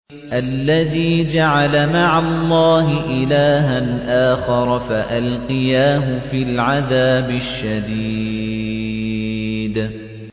الَّذِي جَعَلَ مَعَ اللَّهِ إِلَٰهًا آخَرَ فَأَلْقِيَاهُ فِي الْعَذَابِ الشَّدِيدِ